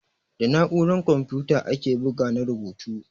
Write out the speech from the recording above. Da na'uran kamfuta ake bugu na rubutu.